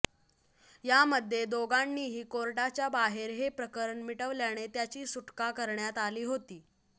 यामध्ये दोघांनीही कोर्टाच्या बाहेर हे प्रकरण मिटवल्याने त्याची सुटका करण्यात आली होती